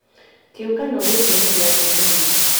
Kĩũngano gĩkĩ nĩ kĩa atumia